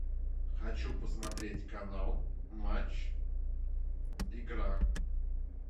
хочу посмотреть канал матч игра